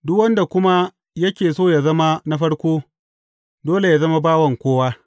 Duk wanda kuma yake so yă zama na farko, dole yă zama bawan kowa.